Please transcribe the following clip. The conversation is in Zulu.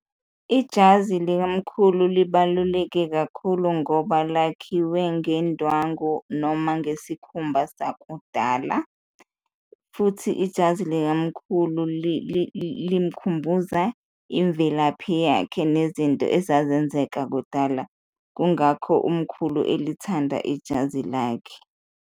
Ijazi likamkhulu libaluleke kakhulu ngoba lakhiwe ngendwangu noma ngesikhumba sakudala futhi ijazi likamkhulu limkhumbuza imvelaphi yakhe nezinto ezazenzeka kudala, kungakho umkhulu elithanda ijazi lakhe.